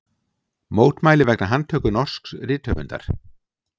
Mótmæli vegna handtöku norsks rithöfundar